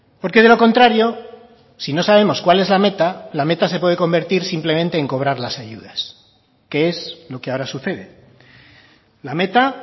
porque de lo contrario si no sabemos cuál es la meta la meta se puede convertir simplemente en cobrar las ayudas que es lo que ahora sucede la meta